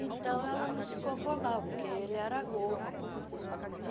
Então, ela não se conformava, porque ele era gordo.